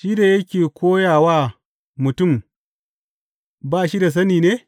Shi da yake koya wa mutum ba shi da sani ne?